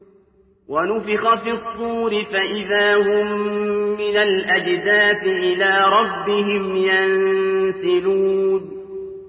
وَنُفِخَ فِي الصُّورِ فَإِذَا هُم مِّنَ الْأَجْدَاثِ إِلَىٰ رَبِّهِمْ يَنسِلُونَ